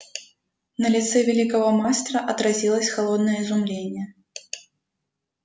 на лице великого мастера отразилось холодное изумление